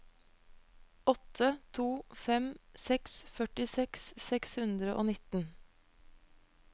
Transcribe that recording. åtte to fem seks førtiseks seks hundre og nitten